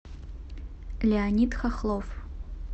леонид хохлов